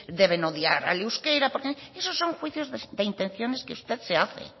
deben de odiar al euskera esos son juicios de intenciones que usted se hace